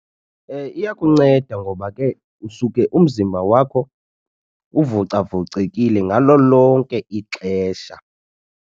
Iyakunceda ngoba ke usuke umzimba wakho uvocavocekile ngalo lonke ixesha.